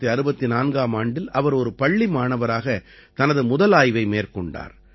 1964 ஆம் ஆண்டில் அவர் ஒரு பள்ளி மாணவராக தனது முதல் ஆய்வை மேற்கொண்டார்